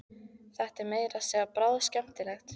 Þetta er meira að segja bráðskemmtilegt!